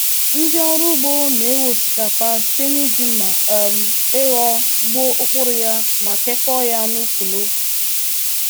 Ndị ọrụ ugbo n'ewe osikapa site n'iji mma um ịghọ gbuo ụkpụrụ ya ma kekọọ ya n'úkwù n'úkwù.